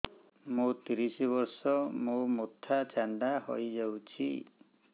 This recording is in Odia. ମୋ ତିରିଶ ବର୍ଷ ମୋ ମୋଥା ଚାନ୍ଦା ହଇଯାଇଛି